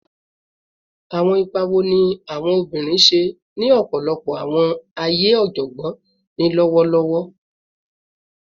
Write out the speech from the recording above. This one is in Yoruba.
Awọn ipa wo ni awọn obinrin ṣe ni ọpọlọpọ awọn aaye ọjọgbọn ni lọwọlọwọ?